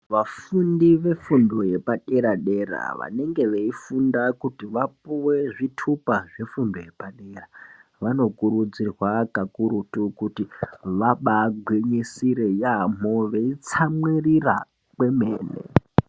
Vafundi vefundo yepadera-dera vanenge veifunda kuti vapuwe zvitupa zvefundo yepadera, vanokurudzirwa kakurutu kuti vabaa gwisisire yaambo veitsamwirira kwemene.